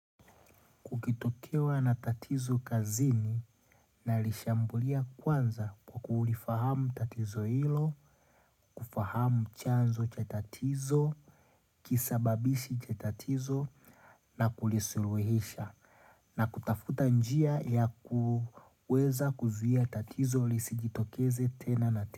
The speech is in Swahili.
Ukitokewa na tatizo kazini na lishambulia kwanza kwa kuulifahamu tatizo hilo, kufahamu chanzo cha tatizo, kisababishi cha tatizo na kulisuluhisha na kutafuta njia ya kuweza kuzia tatizo lisi jitokeze tena na tena.